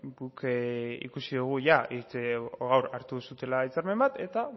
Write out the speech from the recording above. guk ikusi dugu gaur hartu duzuela hitzarmen bat eta